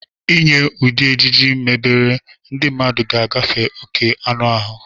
Inye ụdị ejiji mebere, ndị mmadụ ga-agafe oke anụ ahụ.